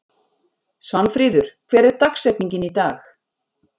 Svanfríður, hver er dagsetningin í dag?